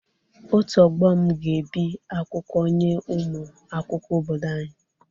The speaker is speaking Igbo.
Otu ọgbọ m ga-ebi akwụkwọ nye ụmụ akwụkwọ obodo anyị.